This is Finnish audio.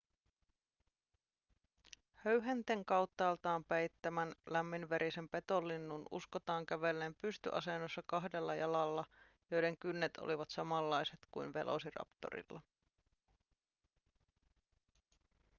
höyhenten kauttaaltaan peittämän lämminverisen petolinnun uskotaan kävelleen pystyasennossa kahdella jalalla joiden kynnet olivat samanlaiset kuin velociraptorilla